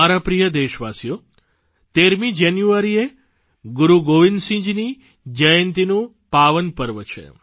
મારા પ્રિય દેશવાસીઓ 13 જાન્યુઆરીએ ગુરૂ ગોવિંદસિંહજીની જયંતિનું પાવનપર્વ છે